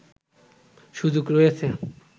সুযোগ রয়েছে